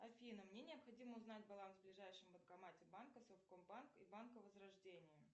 афина мне необходимо узнать баланс в ближайшем банкомате банка совкомбанк и банка возрождение